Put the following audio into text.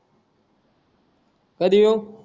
कधी येऊ